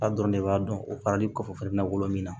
A dɔrɔn de b'a dɔn o faralen kɔfɛ fana bɛna wolo min na